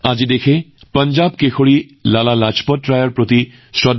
আজি দেশবাসীয়ে পঞ্জাৱ কেশৰী লালা লাজপত ৰায় জীলৈ শ্ৰদ্ধাঞ্জলি জনাইছে